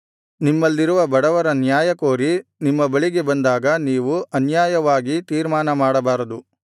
ನಿಮ್ಮಲ್ಲಿರುವ ಬಡವರ ನ್ಯಾಯಕೋರಿ ನಿಮ್ಮ ಬಳಿಗೆ ಬಂದಾಗ ನೀವು ಅನ್ಯಾಯವಾಗಿ ತೀರ್ಮಾನಮಾಡಬಾರದು